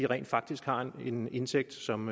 rent faktisk har en indtægt som